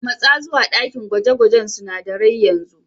Matsa zuwa dakin gwaje-gwajen sunadarai yanzu.